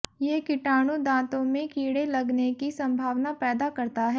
ये कीटाणु दांतों में कीड़े लगने की संभावना पैदा करता है